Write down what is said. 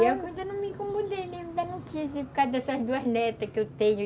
E eu ainda não me incomodei, ainda não quis, por causa dessas duas netas que eu tenho.